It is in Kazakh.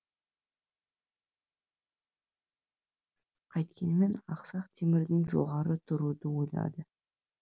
қайткенмен ақсақ темірден жоғары тұруды ойлады